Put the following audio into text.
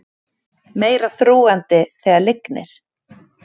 Meira þrúgandi þegar lygnir